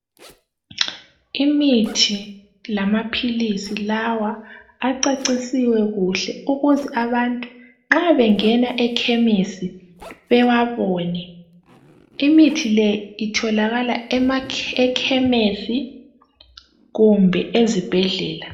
Imithi lamaphilisi lawa acecisiwe kuhle ukuze abantu nxa bengena ekhemisi bewabone . Imithi le itholakala ekhemisi kumbe ezibhedlela .